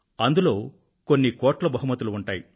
అందులో కొన్ని కోట్ల బహుమతులు ఉంటాయి